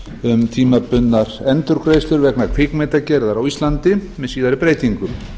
um tímabundnar endurgreiðslur vegna kvikmyndagerðar á íslandi með síðari breytingum